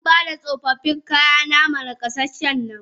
Xanbada tsofaffin kayana ma nakasasshen nan.